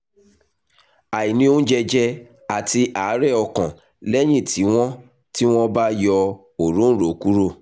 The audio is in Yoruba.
àìní oúnjẹ jẹ àti àárẹ̀ ọkàn lẹ́yìn tí wọ́n tí wọ́n bá yọ òróǹro kúrò